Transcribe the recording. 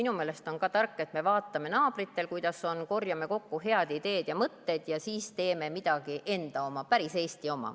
Minu meelest on tark, et me vaatame, kuidas naabritel on, korjame kokku head ideed ja mõtted ja siis teeme midagi enda oma, päris Eesti oma.